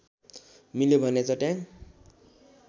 मिल्यो भने चट्याङ